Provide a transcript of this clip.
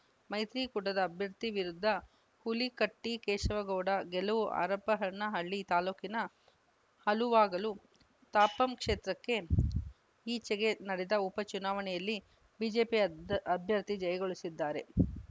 ಮೈತ್ರಿ ಕೂಟದ ಅಭ್ಯರ್ಥಿ ವಿರುದ್ಧ ಹುಲ್ಲಿಕಟ್ಟಿ ಕೇಶವಗೌಡ ಗೆಲವು ಹರಪನಹಳ್ಳಿ ತಾಲೂಕಿನ ಹಲುವಾಗಲು ತಾಪಂ ಕ್ಷೇತ್ರಕ್ಕೆ ಈಚೆಗೆ ನಡೆದ ಉಪ ಚುನಾವಣೆಯಲ್ಲಿ ಬಿಜೆಪಿ ಅಭ್ಯ್ ಅಭ್ಯರ್ಥಿ ಜಯಗಳಿಸಿದ್ದಾರೆ